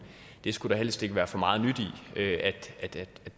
det skulle der helst ikke være for meget nyt i at